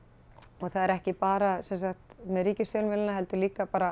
og það er ekki bara með ríkisfjölmiðlana heldur líka bara